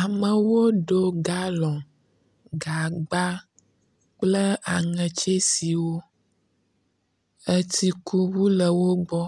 Amewo ɖo galɔ, gagba kple aŋetsesiwo. Etsikuŋu le wo gbɔ.